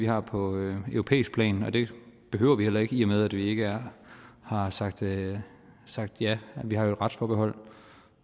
har på europæisk plan og det behøver det heller ikke i og med at vi ikke har sagt ja sagt ja vi har jo et retsforbehold